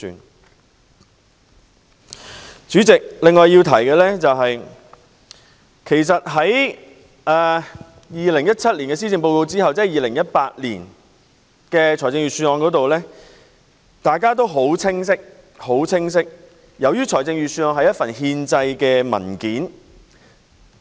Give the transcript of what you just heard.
代理主席，我要提出的另一點是，在2017年的施政報告發表後便有2018年的財政預算案，大家也很清楚預算案屬憲制文件。